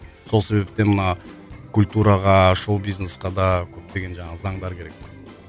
сол себептен мына культураға шоу бизнесқа да көптеген жаңағы заңдар керек